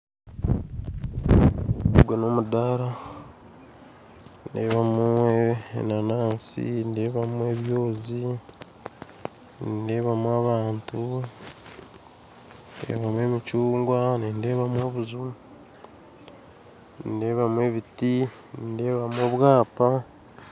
Ogwe n'omudara nindebamu enanansi nindebamu ebyozi nindebamu abantu nindebamu emicungwa nindebamu obuju nindebamu ebiti nindebamu obwapa